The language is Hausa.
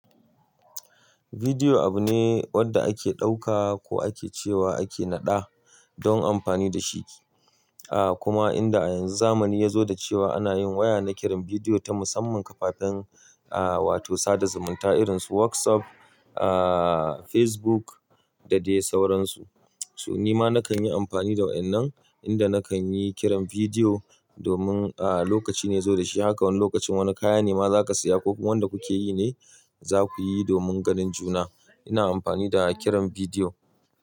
Video abu ne wanda ake ɗauka ko ake cewa ake naɗa don amfani da shi. Kuma inda a yanzu zamani ya zo da cewa ana yin waya na kiran bidiyo ta musamman kafafen, ah wato sada zumunta irinsu WhatsApp, ah Facebook da dai sauransu. So nima nakan yi amfani da waɗannan inda nakan yi kiran bidiyo domin ah lokaci ne ya zo da shi. Haka wani lokacin wani kaya ne ma za ka saya ko wanda kuke yi ne za ku yi domin ganin juna. Ina amfani da kiran bidiyo.